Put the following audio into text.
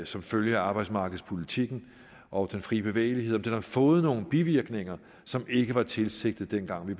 som følge af arbejdsmarkedspolitikken og den fri bevægelighed den har fået nogle bivirkninger som ikke var tilsigtet dengang vi